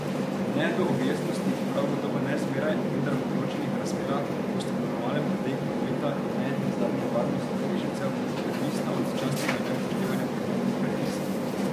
Ne do objestnosti in prav gotovo ne zmeraj, vendar v določenih razmerah, ko sta normalen potek prometa in ne nazadnje varnost udeležencev odvisna od začasnega neupoštevanja prometnih predpisov.